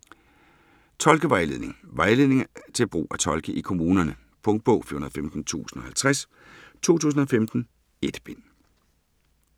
Tolkevejledning Vejledning til brug af tolke i kommunerne. Punktbog 415050 2015. 1 bind.